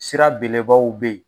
Sira belebaw be yen